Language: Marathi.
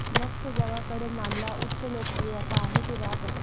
लक्ष जगाकडे मानला उच्च लोकप्रियता आहे की रॅप असेल